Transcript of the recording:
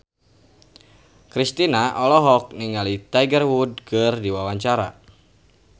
Kristina olohok ningali Tiger Wood keur diwawancara